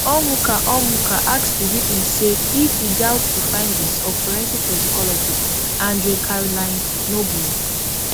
onwuka onwuka ask di witness say if e doubt di findings of forensic toxicologist andre caroline noble